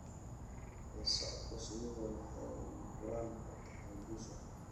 La socodka shinnidu waxay lama huraan u tahay guusha.